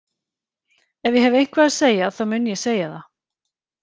Ef ég hef eitthvað að segja þá mun ég segja það.